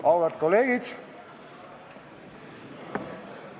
Auväärt kolleegid!